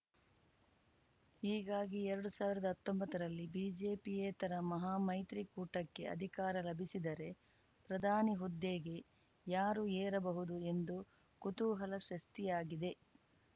ಹೀಗಾಗಿ ಎರಡು ಸಾವಿರದ ಹತ್ತೊಂಬತ್ತರಲ್ಲಿ ಬಿಜೆಪಿಯೇತರ ಮಹಾಮೈತ್ರಿಕೂಟಕ್ಕೆ ಅಧಿಕಾರ ಲಭಿಸಿದರೆ ಪ್ರಧಾನಿ ಹುದ್ದೆಗೆ ಯಾರು ಏರಬಹುದು ಎಂದು ಕುತೂಹಲ ಸೃಷ್ಟಿಯಾಗಿದೆ